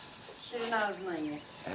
Şirin ağzına ye.